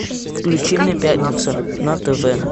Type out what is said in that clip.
включи мне пятница на тв